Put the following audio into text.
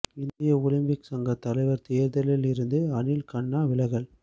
இந்திய ஒலிம்பிக் சங்க தலைவர் தேர்தலில் இருந்து அனில் கண்ணா விலகல்